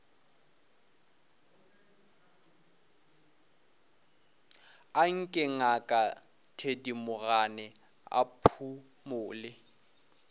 anke ngaka thedimogane a phumole